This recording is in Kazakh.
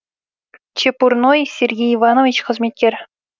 чепурной сергей иванович қызметкер